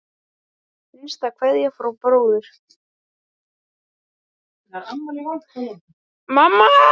Hinsta kveðja frá bróður.